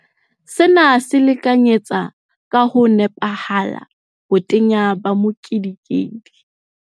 Sena se lekanyetsa ka ho nepahala botenya ba mokedikedi.